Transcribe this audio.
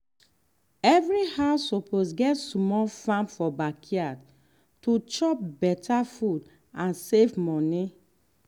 every house suppose get small farm for backyard to chop better food and save money.